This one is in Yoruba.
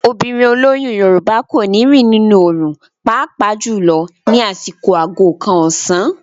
Obìnrin olóyún Yorùbá kò ní rìn nínú òòrùn pàápàá jùlọ ní àsìkò aago kan ọ̀sán.